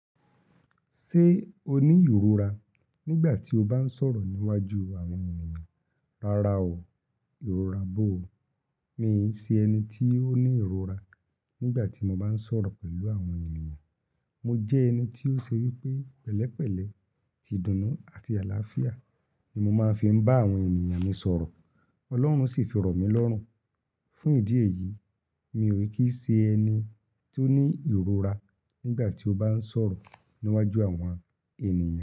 Ṣé o ní ìrora nígbà tí o bá ń sọ̀rọ̀ níwájú àwọn ènìyàn? Rárá o, ìrora bóo. Mi ò ṣe ẹni tí ó ní ìrora nígbà tí mo bá ń sọ̀rọ̀ pẹ̀lú àwọn ènìyàn. Mo jẹ́ ẹni tí ó ṣe wípé pẹ̀lẹ́pẹ̀lẹ́, tìdùnú àti àlàáfíà ni mo máa ń fi bá àwọn ènìyàn mi sọ̀rọ̀. Ọlọ́run sì fi rọ mí lọ́rùn. Fún ìdí èyí, mi ò kí ṣe ẹni tí ó ní ìrora nígbà tí ó bá ń sọ̀rọ̀ níwájú àwọn ènìyàn.